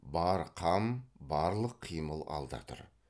бар қам барлық қимыл алда тұр